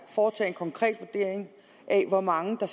foretage en konkret vurdering af hvor mange der